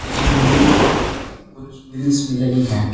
इस बिल्डिंग के ऊपर कुछ ग्रिल्स भी लगी है।